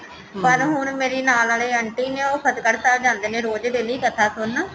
ਪਰ ਹੁਣ ਮੇਰੇ ਨਾਲ ਵਾਲੇ ਆਂਟੀ ਨੇ ਉਹ ਫਤਹਿਗੜ੍ਹ ਸਾਹਿਬ ਜਾਂਦੇ ਨੇ ਰੋਜ਼ daily ਕਥਾ ਸੁਣਨ